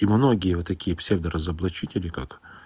и многие вот такие псевдо разоблачители как